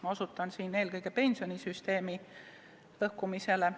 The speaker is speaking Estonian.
Ma osutan siin eelkõige pensionisüsteemi lõhkumisele.